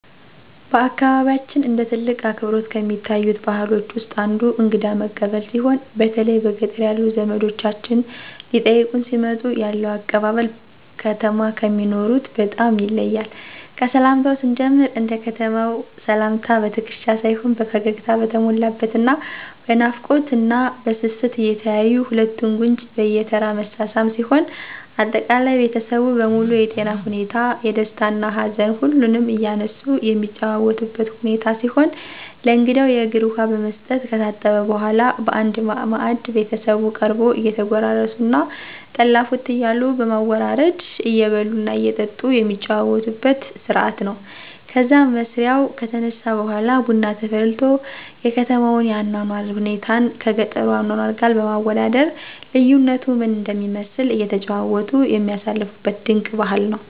በአካባቢያችን እንደ ትልቅ አክብሮት ከሚታዩት ባህሎች ውስጥ አንዱ እንግዳ መቀበል ሲሆን በተለይ በገጠር ያሉ ዘመዶቻችን ሊጠይቁን ሲመጡ ያለው አቀባበል ከተማ ከሚኖሩት በጣም ይለያል። ከሰላምታው ስንጀምር እንደ ከተማው ሰላምታ በትክሻ ሳይሆን ፈገግታ በተሞላበት እና በናፍቆት እና በስስት እየተያዩ ሁለቱን ጉንጭ በየተራ መሳሳም ሲሆን አጠቃላይ ቤተሰቡ በሙሉ የጤና ሁኔታ፣ የደስታ እና ሀዘን ሁሉንም እያነሱ የሚጨዋወቱበት ሁኔታ ሲሆን ለእንግዳው የእግር ውሃ በመስጠት ከታጠበ በኃላ በአንድ ማዕድ ቤተሰቡ ቀርቦ እየተጎራረሱ እና ጠላ ፉት እያሉ በማወራረድ እየበሉ እና እየጠጡ የሚጫወቱበት ስርአት ነው። ከዛም መስሪያው ከተነሳ በኃላ ቡና ተፈልቶ የከተማውን የአኗኗር ሁኔታን ከገጠሩ አኗኗር ጋር በማወዳደር ልዩነቱ ምን እንደሚመስል እየተጨዋወቱ የሚያሳልፉበት ድንቅ ባህል ነው።